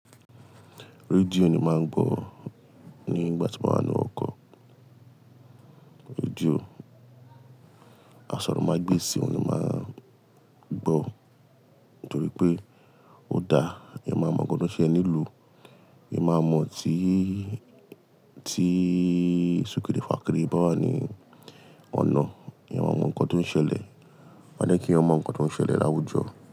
Radio ni máa ń gbọ́ nígbà tí mo ba wa ń nu oko. Radio, àsòrọ̀mágbèsì òun ni mó máa ń gbọ́ nítorí pé ó dáa. Eeyan máa mọ nkan tó ń ṣẹle nílùú, eeyan máa mọ̀ tí, tí sùkiri fà kirì bá wà ní ọ̀nà. Eeyqn máa mọ nkan tó ń ṣẹlẹ̀. A jẹ́kì eeyan máa mọ nkan tó ń ṣẹlẹ̀ láwùjọ.